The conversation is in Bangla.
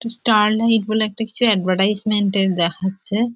স্টারলাইট বলে একটা এডভারটিসিমেন্ট -এর দেখাচ্ছে।